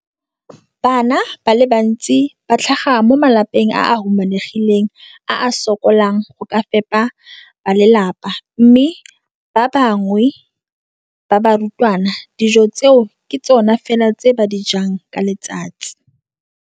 Bana ba le bantsi ba tlhaga mo malapeng a a humanegileng a a sokolang go ka fepa ba lelapa mme ba bangwe ba barutwana, dijo tseo ke tsona fela tse ba di jang ka letsatsi.